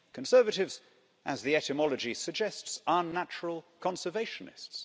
Conservatives, as the etymology suggests, are natural conservationists.